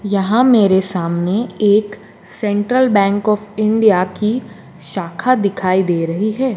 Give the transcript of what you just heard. यहां मेरे सामने एक सेंट्रल बैंक ऑफ़ इंडिया की शाखा दिखाई दे रही है।